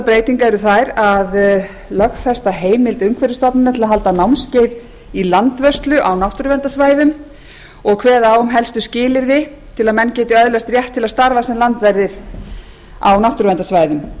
breytinganna eru þær að lögfesta heimild umhverfisstofnunar til að halda námskeið í landvörslu á náttúruverndarsvæðum og kveða á um helstu skilyrði til að menn geti öðlast rétt til að starfa sem landverðir á náttúruverndarsvæðum svo